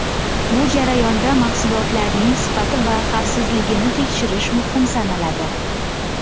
Bu jarayonda mahsulotlarning sifati va xavfsizligini tekshirish muhim sanaladi.